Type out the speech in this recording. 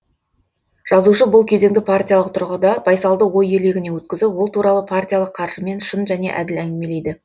жазушы бұл кезеңді партиялық тұрғыда байсалды ой елегінен өткізіп ол туралы партиялық қаржымен шын және әділ әңгімелейді